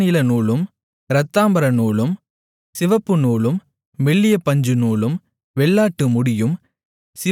இளநீலநூலும் இரத்தாம்பரநூலும் சிவப்பு நூலும் மெல்லிய பஞ்சு நூலும் வெள்ளாட்டு முடியும்